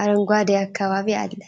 አረንጓዴ አካባቢ አለ።